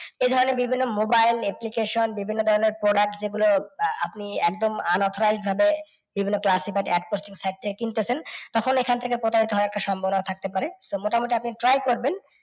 এই ধরণের বিভিন্ন mobile, application বিভিন্ন ধরণের ফোন আর আছে যেগুলো আহ আপনি একদম unauthorized ভাবে বিভিন্ন বা APP posting side থেকে কিন্তেছেন, তখন এখান থেকে একটা প্রতারিত হওয়ার সম্ভাবনা থাকতে পারে। তো মোটামুটি আপনি try করবেন